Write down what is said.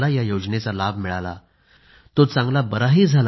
या योजनेचा लाभ त्याला मिळाला तो चांगला बराही झाला